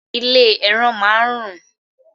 Ilé ẹran máá ń rùn